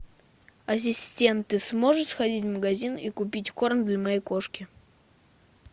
ассистент ты сможешь сходить в магазин и купить корм для моей кошки